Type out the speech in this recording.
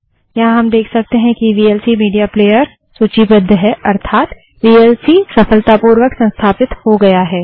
यहाँ हम देख सकते हैं कि वीएलसी मीडिया playerवीएलसी मीडिया प्लेअर सूचीबद्ध है अर्थात वीएलसी सफलतापूर्वक संस्थापित हो गया है